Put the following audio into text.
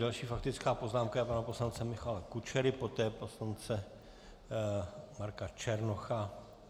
Další faktická poznámka je pana poslance Michala Kučery, poté poslance Marka Černocha.